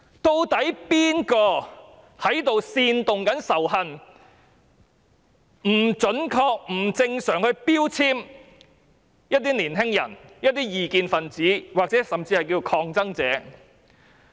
究竟是誰在煽動仇恨，不準確、不正常地標籤一些年輕人、異見分子甚至是抗爭者？